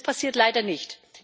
Und das passiert leider nicht.